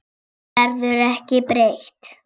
Henni verður ekki breytt.